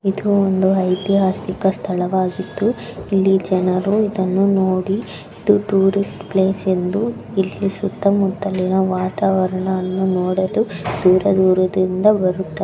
ಇದು ಒಂದು ಐತಿಹಾಸಿಕ ಸ್ಥಳವಾಗಿದ್ದು ಇಲ್ಲಿ ಜನರು ಇದನ್ನು ನೋಡಿ ಇದು ಟೂರಿಸ್ಟ್ ಪ್ಲೇಸ ಎಂದು ಇಲಿ ಸುತ ಮುತ್ತಲಿನ ವಾತಾವರಣ ನೋಡಲು ದೂರ ದೂರದಿಂದ ಬರುತ್ತಾರ.